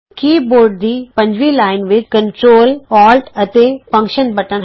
ਕੀ board ਦੀ ਪੰਜਵੀਂ line ਵਿਚ ਕੰਟਰੌਲ ਔਲਟ ਅਤੇ ਫੰਕਸ਼ਨ ਬਟਨ ਹਨ